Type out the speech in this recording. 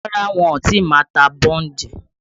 Rárá wọn ò tí ì ma ta bọ́ǹdì